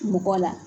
Mɔgɔ la